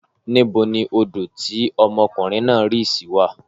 Níbo ni odò tí ọmọkùnrin náà rì sí wà?